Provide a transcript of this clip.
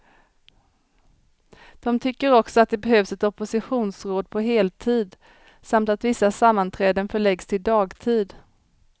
De tycker också att det behövs ett oppositionsråd på heltid, samt att vissa sammanträden förläggs till dagtid.